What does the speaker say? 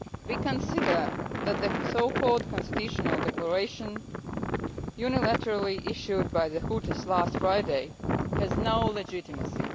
We consider that the so called constitutional declaration unilaterally issued by the Houthis last Friday has no legitimacy.